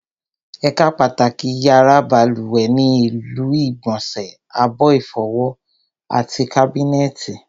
Ẹ̀ka pàtàkì yàrá balùwẹ̀ ni ilu ìgbọ̀nsẹ̀, abọ́ ìfọwọ́, àti kábínẹ̀tì